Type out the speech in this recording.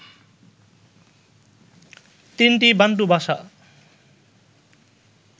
তিনটি বান্টু ভাষা